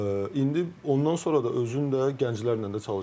İndi ondan sonra da özün də gənclərlə də çalışırsan.